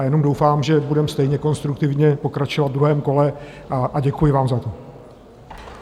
A jenom doufám, že budeme stejně konstruktivně pokračovat v druhém kole, a děkuji vám za to.